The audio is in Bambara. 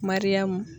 Mariyamu